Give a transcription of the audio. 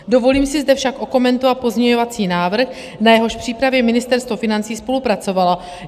Dovolím si zde však okomentovat pozměňovací návrh, na jehož přípravě Ministerstvo financí spolupracovalo.